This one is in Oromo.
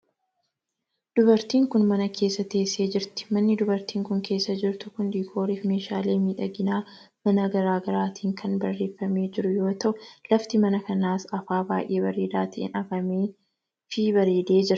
Dubartiin kun, mana keessa teessee jirti. Manni dubartiin kun, keessa jirtu kun, diikoorii fi meeshaalee miidhagina manaa garaa garaatin kan bareeffamee jiru yoo ta'u, lafti mana kanaas afaa baay'ee bareedaa ta'een afamee fi bareedee jira.